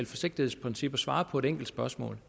forsigtighedsprincip at svare på et enkelt spørgsmål